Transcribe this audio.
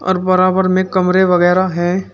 बराबर में कमरे वगैरा हैं।